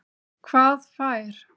Hvað fær